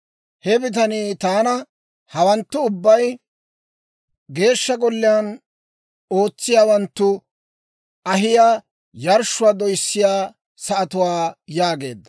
He bitanii taana, «Hawanttu ubbay Geeshsha Golliyaan ootsiyaawanttu ahiyaa yarshshuwaa doyissiyaa sa'atuwaa» yaageedda.